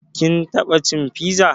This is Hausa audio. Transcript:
Kin taɓa cin fiza?